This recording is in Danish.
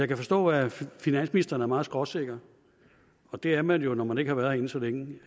kan forstå at finansministeren er meget skråsikker og det er man jo når man ikke har været herinde så længe